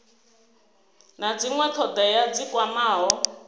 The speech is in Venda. na dzinwe thodea dzi kwamaho